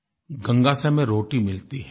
गंगा से हमें रोटी मिलती है